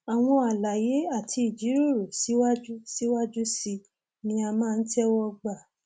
àwọn àlàyé àti ìjíròrò síwájú síwájú sí i ni a máa ń tẹwọ gbà